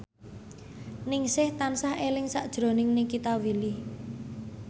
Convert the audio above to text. Ningsih tansah eling sakjroning Nikita Willy